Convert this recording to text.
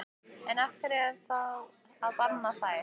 En af hverju þá að banna þær?